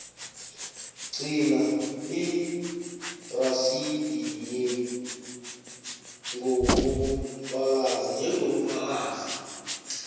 gcina irasidi njengobufakazi